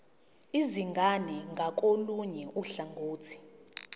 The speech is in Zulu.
izingane ngakolunye uhlangothi